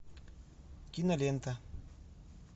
кинолента